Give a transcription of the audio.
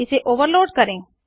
इसे ओवरलोड करें